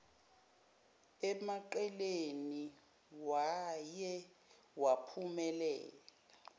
emaqeleni waye waphumela